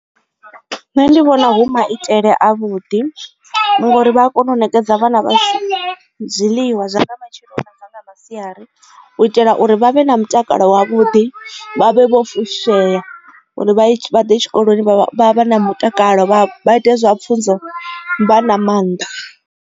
Nṋe ndi vhona hu maitele a vhuḓi ngori vha a kona u nekedza vhana vha zwiḽiwa zwa nga matsheloni na nga masiari u itela uri vhavhe na mutakalo wavhuḓi vha vhe vho fushea uri vha ḓe tshikoloni vha vha na mutakalo vhaite zwa pfunzo vha na mannḓa.